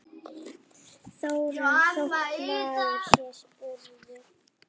Þóra: Þótt maður sé spurður?